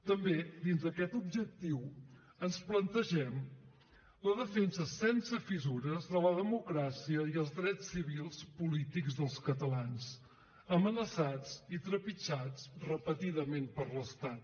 també dins d’aquest objectiu ens plantegem la defensa sense fissures de la democràcia i els drets civils polítics dels catalans amenaçats i trepitjats repetidament per l’estat